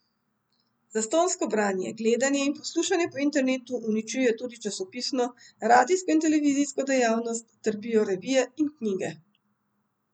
Zastonjsko branje, gledanje in poslušanje po internetu uničuje tudi časopisno, radijsko in televizijsko dejavnost, trpijo revije in knjige.